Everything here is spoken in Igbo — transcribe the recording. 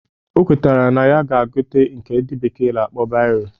O kwetakwara na ya ga-egote nke ndị bekee na-akpọ bairo